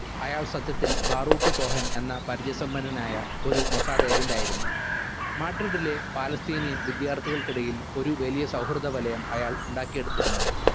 അയാൾ സത്യത്തിൽ Baruch Cohen എന്ന പരിചയ സമ്പന്നനായ ഒരു മൊസാദ് agent ആയിരുന്നു മാഡ്രിഡിലെ palestinian വിദ്യാർത്ഥികൾക്കിടയിൽ ഒരു വലിയ സൗഹൃദ വലയം അയാൾ ഉണ്ടാക്കിയെടുത്തിരുന്നു.